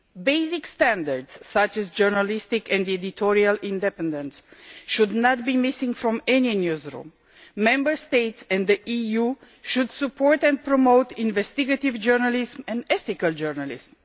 Basic standards such as journalistic and editorial independence should not be missing from any newsroom. Member States in the EU should support and promote investigative journalism and ethical journalism.